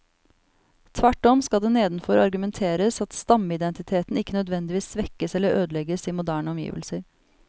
Tvert om skal det nedenfor argumenteres at stammeidentiteten ikke nødvendigvis svekkes eller ødelegges i moderne omgivelser.